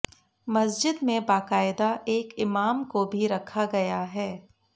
मस्जिद में बाकायदा एक इमाम को भी रखा गया है